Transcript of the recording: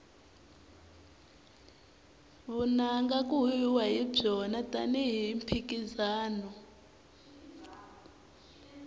vunanga ku huhwiwa hi byona tani hi mphikizano